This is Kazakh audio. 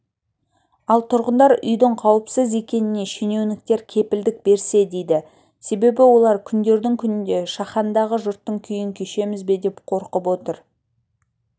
ал тұрғындар үйдің қауіпсіз екеніне шенеуніктер кепілдік берсе дейді себебі олар күндердің күнінде шахандағы жұрттың күйін кешеміз бе деп қорқып отыр